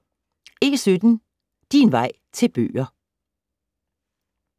E17 Din vej til bøger